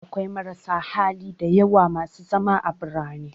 Akwai marasa hali da yawa masu zama a birane